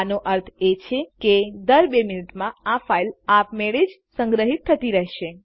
આનો અર્થ એ છે કે દર બે મિનીટમાં આ ફાઈલ આપ મેળે જ સંગ્રહિત થતી રેહશે